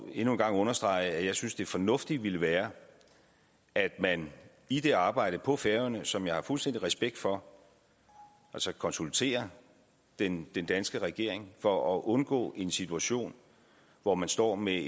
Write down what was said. vil endnu en gang understrege at jeg synes det fornuftige vil være at man i det arbejde på færøerne som jeg har fuldstændig respekt for konsulterer den danske regering for at undgå en situation hvor man står med